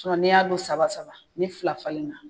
n'i y'a don saba saba ni fila falenna.